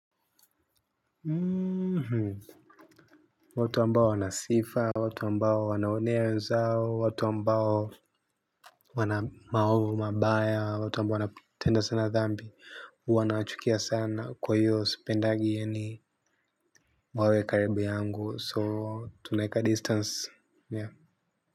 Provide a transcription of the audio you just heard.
Mhm watu ambao wanasifa watu ambao wanaonea wenzao watu ambao wana mahovu mabaya watu ambao wana tenda sana dhambi huwana wachukia sana kwa hiyo sependagi ye ni wawe karibu yangu so tunaeka distance.